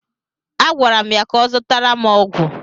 A gwara m ya ka ọ zụtara m ọgwụ!